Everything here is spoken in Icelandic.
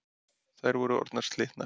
Þær voru orðnar slitnar.